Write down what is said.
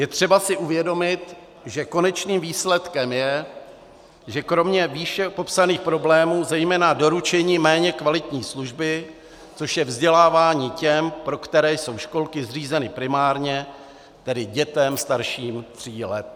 Je si třeba uvědomit, že konečným výsledkem je, že kromě výše popsaných problémů, zejména doručení méně kvalitní služby, což je vzdělávání těm, pro které jsou školky zřízeny primárně, tedy dětem starším tří let.